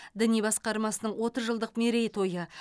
діни басқармасының отыз жылдық мерейтойы